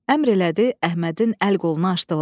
Əmr elədi Əhmədin əl-qolunu açdılar.